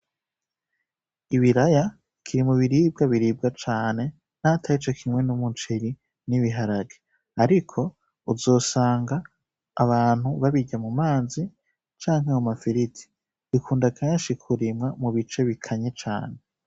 Ibiraya Kiri mu biribwa biribwa cane naho ataricokimwe n'umuceri, n'ibiharage ariko uzosanga abantu babirya mu mazi canke mu mafiriti, bikunda kenshi kurimwa mubice bikanye cane.